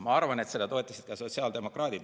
Ma arvan, et seda toetasid ka sotsiaaldemokraadid.